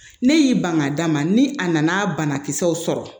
Ne y'i ban ka d'a ma ni a nana banakisɛw sɔrɔ